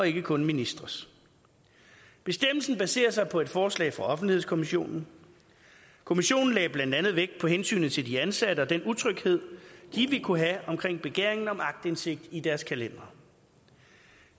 ikke kun ministres bestemmelsen baserer sig på et forslag fra offentlighedskommissionen kommissionen lagde blandt andet vægt på hensynet til de ansatte og den utryghed de ville kunne have omkring begæringen om aktindsigt i deres kalendere